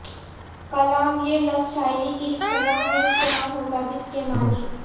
کلام یہ لفظ شاعری کی اصطلاح میں استعمال ہوتا جس کے معنی